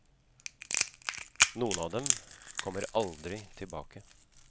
Noen av dem kommer aldri tilbake.